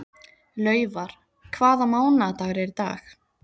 Laufar, hvaða mánaðardagur er í dag?